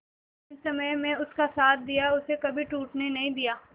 कठिन समय में उसका साथ दिया उसे कभी टूटने नहीं दिया